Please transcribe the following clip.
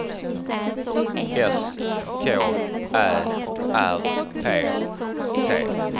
S K Ä R P T